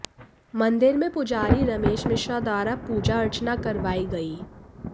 मंदिर में पुजारी रमेश मिश्रा द्वारा पूजा अर्चना करवाई गई